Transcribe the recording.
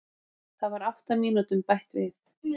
Það var átta mínútum bætt við